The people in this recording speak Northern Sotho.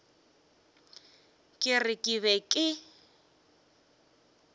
ke re ke be ke